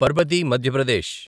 Parbati Madhya Pradesh